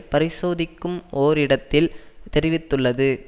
பரிசோதிக்கும் ஒர் இடத்தில் தெரிவித்துள்ளது